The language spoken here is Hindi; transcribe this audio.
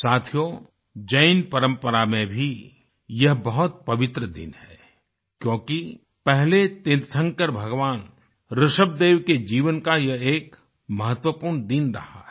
साथियो जैन परंपरा में भी यह बहुत पवित्र दिन है क्योंकि पहले तीर्थंकर भगवान ऋषभदेव के जीवन का यह एक महत्वपूर्ण दिन रहा है